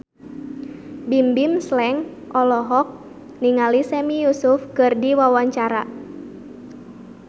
Bimbim Slank olohok ningali Sami Yusuf keur diwawancara